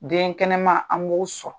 Den kɛnɛman an' b'o sɔrɔ.